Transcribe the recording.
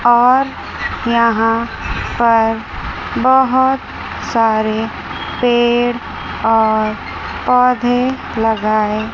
और यहां पर बहुत सारे पेड़ और पौधे लगाए--